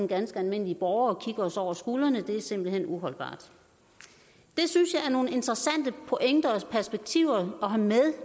ganske almindelige borgere kigger os over skulderen det er simpelt hen uholdbart det synes jeg er nogle interessante pointer og perspektiver at have med